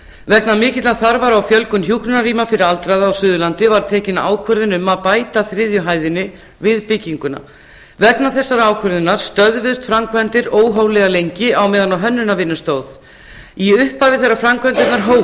vegna mikillar þarfar á fjölgun hjúkrunarrýma fyrir aldraða á suðurlandi var tekin ákvörðun um að bæta þriðju hæðinni við bygginguna vegna þessarar ákvörðunar stöðvuðust framkvæmdir óhóflega lengi á meðan á hönnunarvinnu stóð í upphafi þegar framkvæmdirnar